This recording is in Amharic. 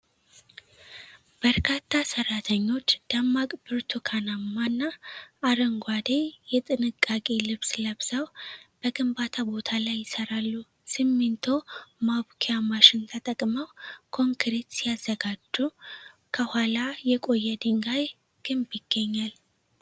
በርካታ ሰራተኞች ደማቅ ብርቱካናማና አረንጓዴ የጥንቃቄ ልብስ ለብሰው በግንባታ ቦታ ላይ ይሰራሉ። ሲሚንቶ ማቡኪአ ማሽን ተጠቅመው ኮንክሪት ሲያዘጋጁ፣ ከኋላ የቆየ የድንጋይ ግንብ ይገኛል።